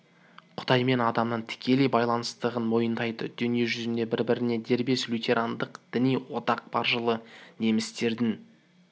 құдай мен адамның тікелей байланыстығын мойындайды дүние жүзінде бір-біріне дербес лютерандық діни одақ бар жылы немістердің